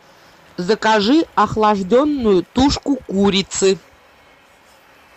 закажи охлажденную тушку курицы